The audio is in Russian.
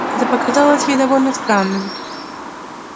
это показалось ей довольно странным